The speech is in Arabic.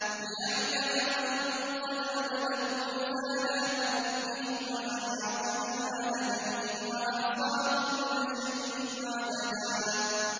لِّيَعْلَمَ أَن قَدْ أَبْلَغُوا رِسَالَاتِ رَبِّهِمْ وَأَحَاطَ بِمَا لَدَيْهِمْ وَأَحْصَىٰ كُلَّ شَيْءٍ عَدَدًا